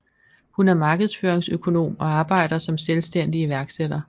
Hun er markedsføringsøkonom og arbejder som selvstændig iværksætter